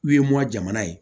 U ye mɔ jamana ye